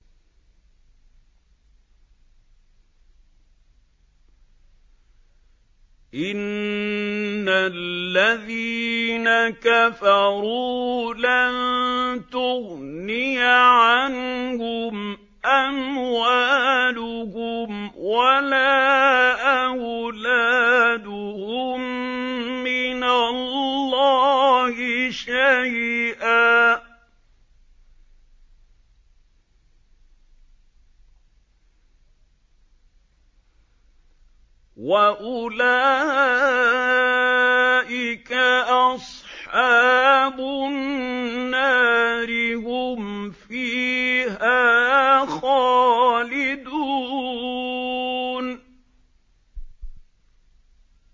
إِنَّ الَّذِينَ كَفَرُوا لَن تُغْنِيَ عَنْهُمْ أَمْوَالُهُمْ وَلَا أَوْلَادُهُم مِّنَ اللَّهِ شَيْئًا ۖ وَأُولَٰئِكَ أَصْحَابُ النَّارِ ۚ هُمْ فِيهَا خَالِدُونَ